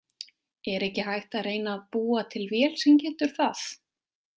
Er ekki hægt að reyna að búa til vél sem getur það?